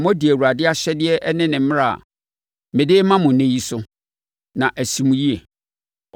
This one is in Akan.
na modi Awurade ahyɛdeɛ ne ne mmara a mede rema mo ɛnnɛ yi so, na asi mo yie.